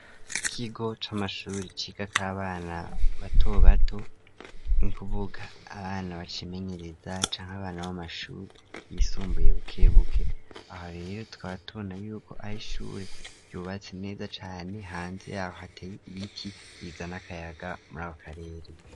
Ikigo c'amashuri ciga kabana bato bato ni kuvuga abana bakimenyereza canke abana b'amashuri yisumbuye bukebuke aho rero twatona yuko ari ishure yubatse neza cane hanze yaho hateye ibiti bizan akayaga muri ako karere.